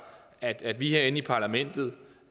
at vi herinde i parlamentet